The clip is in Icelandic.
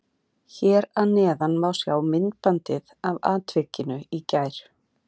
Hér að neðan má sjá myndbandið af atvikinu í gær.